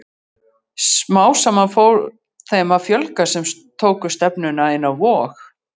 Smám saman fór þeim að fjölga sem tóku stefnuna inn á Vog.